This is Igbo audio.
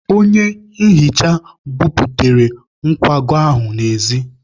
Onye nhicha buputere nkwago ahụ n'ezi.